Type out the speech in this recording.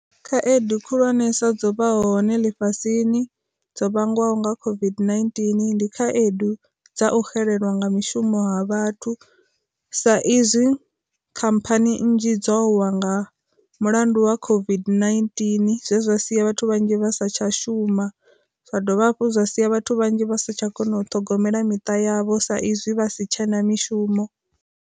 Khaedu khulwanesa dzo vha hone lifhasini dzo vhangwaho nga COVID-19, ndi khaedu dza u xelelwa nga mishumo ha vhathu sa izwi khamphani nnzhi dzo wa nga mulandu wa COVID-19 zwezwa sia vhathu vhanzhi vha satsha shuma, zwa dovha hafhu zwa sia vhathu vhanzhi vha satsha kona u ṱhogomela miṱa yavho sa izwi vha si tshena mishumo.